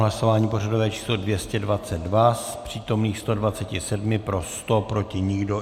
Hlasování pořadové číslo 222, z přítomných 127 pro 100, proti nikdo.